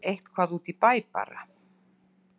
Eitthvað út í bæ bara.